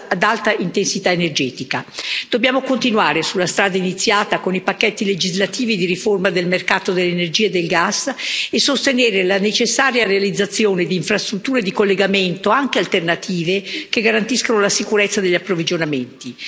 ad alta intensità energetica. Dobbiamo continuare sulla strada iniziata con i pacchetti legislativi di riforma del mercato dell'energia e del gas e sostenere la necessaria realizzazione di infrastrutture di collegamento, anche alternative, che garantiscano la sicurezza degli approvvigionamenti.